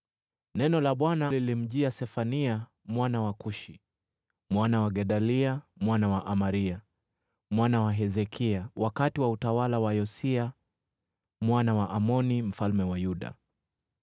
Neno la Bwana lililomjia Sefania mwana wa Kushi, mwana wa Gedalia, mwana wa Amaria, mwana wa Hezekia, wakati wa utawala wa Yosia mwana wa Amoni mfalme wa Yuda: